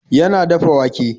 Yana dafa wake.